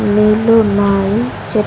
నీళ్ళు ఉన్నాయి చే--